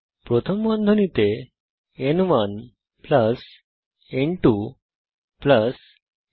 প্রথম বন্ধনীতে ন1 ন2 ন3